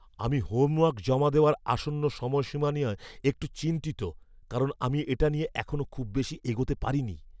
আমি হোমওয়ার্ক জমা দেওয়ার আসন্ন সময়সীমা নিয়ে একটু চিন্তিত কারণ আমি এটা নিয়ে এখনো খুব বেশি এগোতে পারিনি।